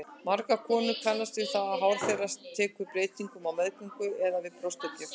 Margar konur kannast við það hár þeirra tekur breytingum á meðgöngu eða við brjóstagjöf.